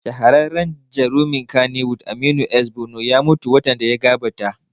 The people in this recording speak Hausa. Shahararren jarumin kannywood Aminu S Bono ya mutu watan da ya gabata